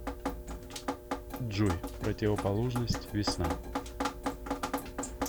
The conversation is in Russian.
джой противоположность весна